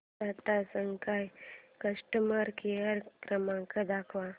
Tata sky customer care क्रमांक दाखवा